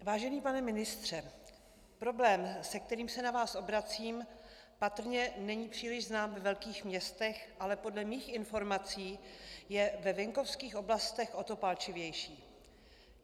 Vážený pane ministře, problém, se kterým se na vás obracím, patrně není příliš znám ve velkých městech, ale podle mých informací je ve venkovských oblastech o to palčivější.